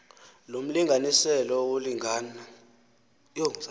lo mlinganiselo wolingana